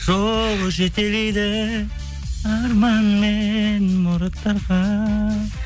жол жетелейді арман мен мұраттарға